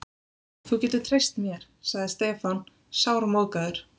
Þú getur treyst mér, sagði Stefán sármóðgaður.